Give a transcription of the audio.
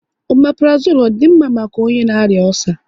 Omaprozole à di mma maka onye na arịa ọcer?